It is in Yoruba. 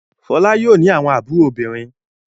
Fọlá yóò ní àwọn àbúrò obìnrin.